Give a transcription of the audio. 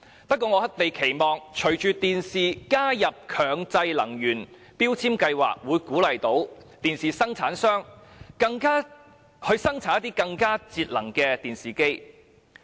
不過，我們期望隨着電視機被納入強制性標籤計劃，可以鼓勵生產商生產更節能的電視機。